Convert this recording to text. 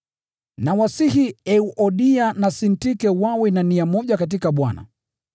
Nawasihi Euodia na Sintike wawe na nia moja katika Bwana.